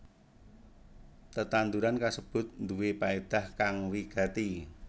Tetanduran kasebut nduwé paédah kang wigati